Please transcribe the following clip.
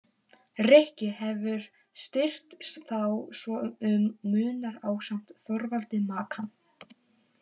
Rikki hefur styrkt þá svo um munar ásamt Þorvaldi Makan.